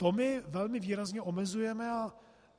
To my velmi výrazně omezujeme.